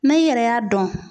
Na i yɛrɛ y'a dɔn.